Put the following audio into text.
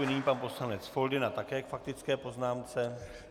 Nyní pan poslanec Foldyna, také k faktické poznámce.